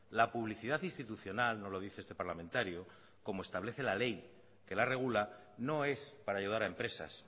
la publicidad institucional no lo dice este parlamentario como establece la ley que la regula no es para ayudar a empresas